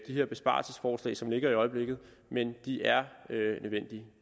her besparelsesforslag som ligger i øjeblikket men de er nødvendige